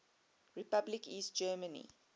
republic east germany